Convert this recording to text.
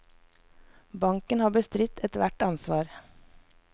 Banken har bestridt et hvert ansvar.